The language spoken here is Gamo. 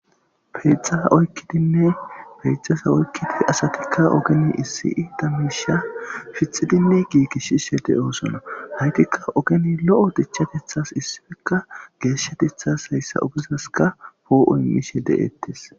peyxasa oykkidinne peexasa oykkidi asatikka ogeni issi da miisha fitxidinne giigishshishe de7oosona haytikka ogeni lo7o dichatethas issifekka geeshatethas hayssa ogezaska poo7oymishe de7ettes